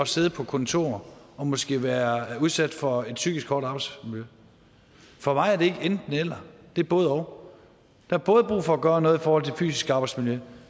sidde på kontor og måske være udsat for et psykisk hårdt arbejdsmiljø for mig er det ikke enten eller det er både og der er både brug for at gøre noget i forhold til fysisk arbejdsmiljø